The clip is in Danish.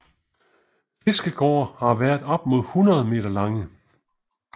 Fiskegårde har været op mod 100 meter lange